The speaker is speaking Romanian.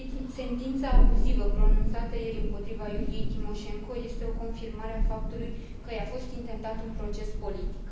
Sentința abuzivă pronunțată ieri împotriva Iuliei Timoșenko este o confirmare a faptului că i a fost intentat un proces politic.